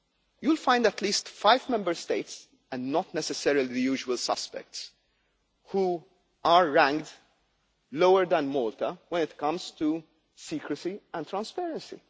You will find at least five Member States and not necessarily the usual suspects who are ranked lower than Malta when it comes to secrecy and transparency.